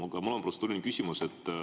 Aga mul on protseduuriline küsimus.